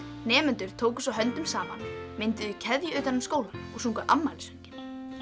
nemendur tóku svo höndum saman mynduðu keðju utan um skólann og sungu afmælissönginn